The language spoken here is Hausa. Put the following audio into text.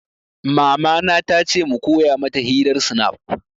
Mama na ta ce mu koya mata hirar snap